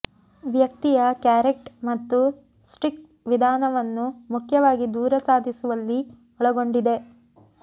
ವ್ಯಕ್ತಿಯ ಕ್ಯಾರೆಟ್ ಮತ್ತು ಸ್ಟಿಕ್ ವಿಧಾನವನ್ನು ಮುಖ್ಯವಾಗಿ ದೂರ ಸಾಧಿಸುವಲ್ಲಿ ಒಳಗೊಂಡಿದೆ